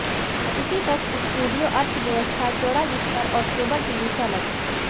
अतिथि कक्ष स्टूडियो अर्थव्यवस्था चौड़ा बिस्तर और केबल टीवी से अलग है